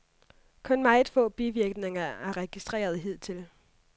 Kun meget få bivirkninger er registreret hidtil.